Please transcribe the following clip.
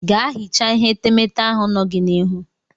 Ga hichaa ihe etemete ahụ nọ gị n'ihu.